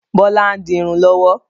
Bọlá ń dirun lọ́wọ́